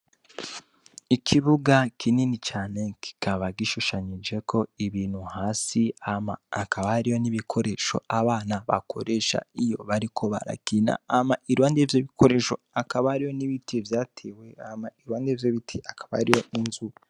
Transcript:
Ikibuga kinini cane kikaba gishushanyijeko ibintu hasi hama hakaba hariyo n'ibikoresho abana bakoresha iyo bariko barakina, hama iruhande y'ivyo bikoreshwa hakaba hariyo n'ibiti vyatewe hama iruhande y'ivyo biti hakaba hariyo inzu.